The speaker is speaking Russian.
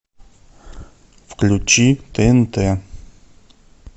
включи тнт